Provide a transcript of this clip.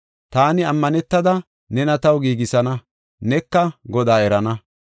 Taani ammanetada nena taw giigisana; neka Godaa erana.